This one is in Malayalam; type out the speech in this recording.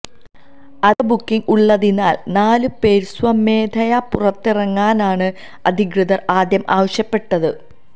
അധിക ബുക്കിംഗ് ഉള്ളതിനാല് നാല് പേര് സ്വമേധയാ പുറത്തിറങ്ങാനാണ് അധികൃതര് ആദ്യം ആവശ്യപ്പെട്ടത്